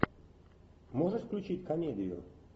можешь включить комедию